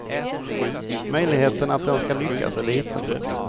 Möjligheten att den ska lyckas är liten.